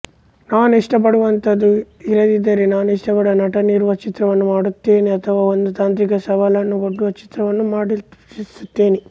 ನಾನು ಇಷ್ಟಪಡುವಂತಹದ್ದು ಇರದಿದ್ದರೆ ನಾನು ಇಷ್ಟಪಡುವ ನಟವಿರುವ ಚಿತ್ರವನ್ನು ಮಾಡುತ್ತೇನೆ ಅಥವಾ ಒಂದು ತಾಂತ್ರಿಕ ಸವಾಲನ್ನು ಒಡ್ಡುವ ಚಿತ್ರವನ್ನು ಮಾಡಲಿಚ್ಛಿಸುತ್ತೇನೆ